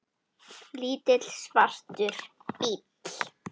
Lítill, svartur bíll.